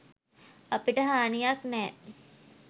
අපිට හානියක් නැහැ.